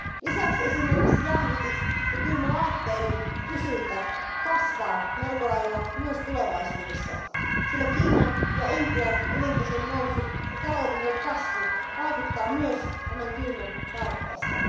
Lisäksi esimerkiksi jäähdytys ja kylmälaitteiden kysyntä kasvaa melko lailla myös tulevaisuudessa, sillä Kiinan ja Intian elintason nousu ja taloudellinen kasvu vaikuttavat myös kylmäntarpeeseen.